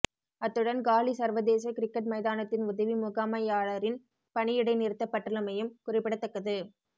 அத்துடன் காலி சர்வதேச கிரிக்கட் மைதானத்தின் உதவி முகாமையாளரின் பணி இடைநிறுத்தப்பட்டுள்ளமையும் குறிப்பிடத்தக்கது